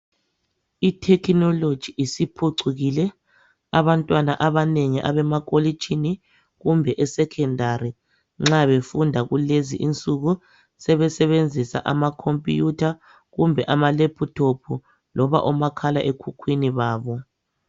AbstreI technology isiphucukile abantwana abanengi abama kolitshini kumbe esecondary nxa befunda kulezi insuku sebesebenzisa ama computer, kumbe ama laptop loba omakhala ekhukhwini babo.